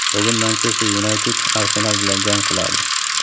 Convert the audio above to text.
bugun "Manchester Yunayted" "Arsenal" bilan jang qiladi.